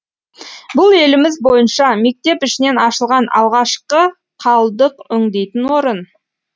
бұл еліміз бойынша мектеп ішінен ашылған алғашқы қалдық өңдейтін орын